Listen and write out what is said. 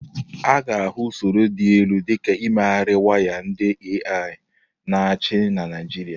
A ga-ahụ usoro dị elu dị ka imegharị waya ndị AI na-achị na Naịjirịa.